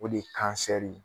O de ye kansɛri ye.